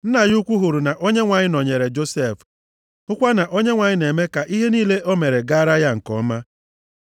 Nna ya ukwu hụrụ na Onyenwe anyị nọnyeere Josef, hụkwa na Onyenwe anyị na-eme ka ihe niile o mere gaara ya nke ọma.